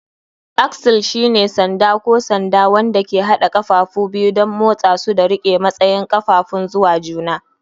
Axle shine sanda ko sanda wanda ke haɗa ƙafafu biyu don motsa su da riƙe matsayin ƙafafun zuwa juna.